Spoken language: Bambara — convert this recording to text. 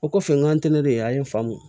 O kɔfɛ n k'ale de an ye faamu